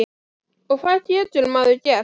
Og hvað getur maður gert þá?